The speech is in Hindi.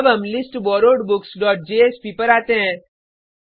अब हम listborrowedbooksजेएसपी पर आते हैं